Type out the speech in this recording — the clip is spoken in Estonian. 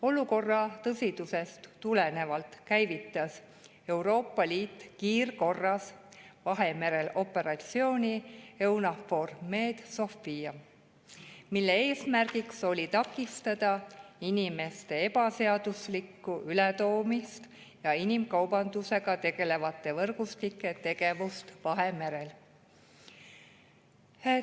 Olukorra tõsidusest tulenevalt käivitas Euroopa Liit kiirkorras Vahemerel operatsiooni EUNAVFOR Med/Sophia, mille eesmärgiks oli takistada inimeste ebaseaduslikku ületoomist ja inimkaubandusega tegelevate võrgustike tegevust Vahemerel.